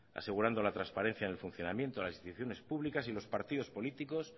asegurando la transparencia en el funcionamiento en las instituciones públicas y los partidos políticos